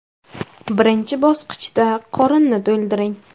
Birinchi bosqichda qorinni to‘ldiring.